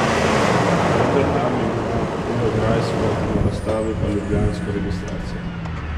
Vendar tam ima beograjsko, na razstavi pa ljubljansko registracijo.